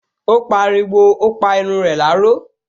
Ó pariwo, "O pa irun rẹ láró"